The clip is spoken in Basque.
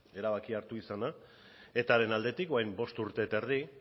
erabakia hartu izana etaren aldetik orain bost urte eta erdi